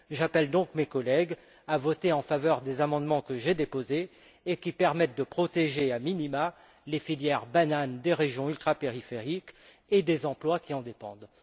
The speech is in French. J'appelle donc mes collègues à voter en faveur des amendements que j'ai déposés et qui permettent de protéger a minima les filières bananes des régions ultrapériphériques et les emplois qui en dépendent.